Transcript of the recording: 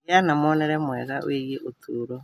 Gĩa na muonere mwega wĩgiĩ ũtũũro.